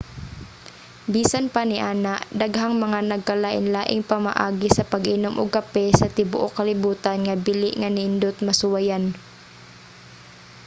bisan pa niana daghang mga nagkalain-laing pamaagi sa pag-inom og kape sa tibuok kalibutan nga bili nga nindot masuwayan